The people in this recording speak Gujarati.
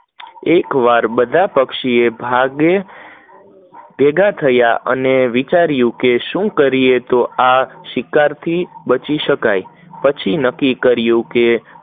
એક વાર બધા પક્ષીઓ ભાગે ભેગા થય અને વિચારીયું કે શું કરીયે તો શિકાર થી બચી શકાય, પછી નક્કી કિરયું કે